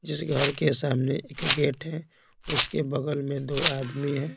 जिस घर के सामने एक गेट है उसके बगल में दो आदमी हैं।